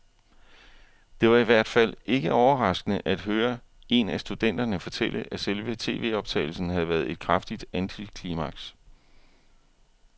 Det var i hvert fald ikke overraskende at høre en af studenterne fortælle, at selve tvoptagelsen havde været et kraftigt antiklimaks.